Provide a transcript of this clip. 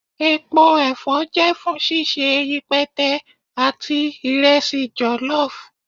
Epo ẹfọ jẹ fun ṣiṣe ipẹtẹ ati iresi jollof.